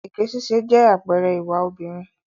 Èké ṣíṣe jẹ́ àpẹẹrẹ ìwà obìnrin.